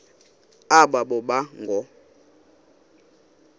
aba boba ngoo